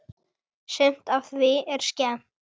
Sumt af því er skemmt.